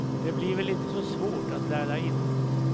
Det blir väl inte så svårt att lära in.